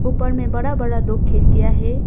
ऊपर में बड़ा बड़ा दो खिड़कियां हैं।